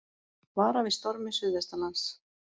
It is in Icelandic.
Varað við stormi suðvestanlands